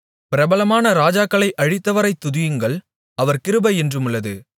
பிரபலமான ராஜாக்களை அழித்தவரைத் துதியுங்கள் அவர் கிருபை என்றுமுள்ளது